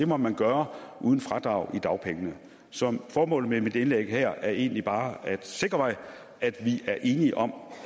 må man gøre uden fradrag i dagpengene så formålet med mit indlæg her er egentlig bare at sikre mig at vi er enige om